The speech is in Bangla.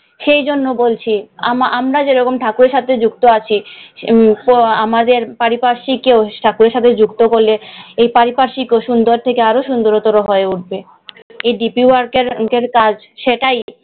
সেই জন্যে বলছি, আমরা যেমন ঠাকুরের সাথে যুক্ত আছি, হম আমাদের পারিপার্শ্বিক কেও ঠাকুরের সাথে যুক্ত করলে, এই পারিপার্শ্বিকও সুন্দর থেকে আরও সুন্দরতর হয়ে উঠবে। এই deepwork এর কাজটা সেটাই।